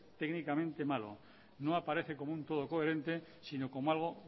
técnicamente malo no aparece como un todo coherente sino como algo